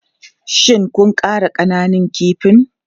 Shin kun ƙara ƙananun kifin?